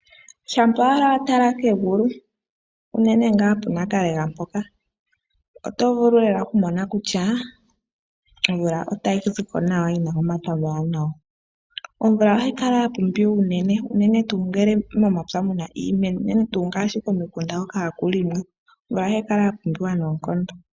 Shampa owala wa tala kegulu unene ngaa pu Nakawela mpoka, oto vulu lela oku mona kutya omvula otayi ziko nawa yina omata omawaanawa. Omvula ohayi kala ya pumbiwa unene, unene tuu ngele momapya muna iimeno, unene tuu ngaashi komikunda hoka haku longwa nohayi kala ya pumbiwa noonkondo.